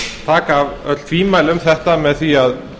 taka af öll tvímæli um þetta með því að